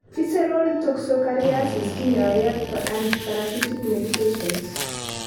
Visceral toxocariasis kinyoe ag antiparasitic medications.